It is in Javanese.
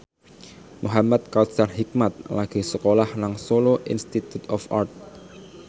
Muhamad Kautsar Hikmat lagi sekolah nang Solo Institute of Art